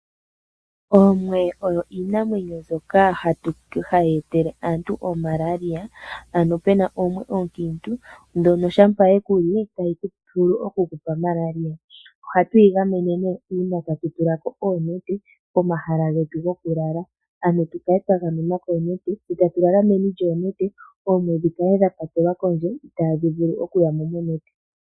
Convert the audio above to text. Oomwe odho iinamwenyo mbyoka hayi etele aantu oMaralia, ano puna omwe onkiintu ndjono shampa yekuli tayi vulu okuku ku etela Maralia. Ohatu igamene nee kuyo uuna tatu tulako oonete pomahala getu gokulala ano tukale twagamwena koonete tse tatulala meni lyoonete oomwe dhikale dhapatelwa kondje itaadhi vulu okuyamo monete.